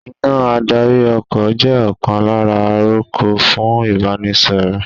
Iná adarí ọkọ̀ jẹ́ ọ̀kan lára àrokò fún Ìbánisọ̀rọ̀